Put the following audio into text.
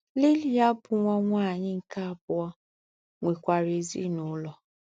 Lilya, bụ́ nwa nwanyị anyị nke abụọ, nwekwara ezinụlọ.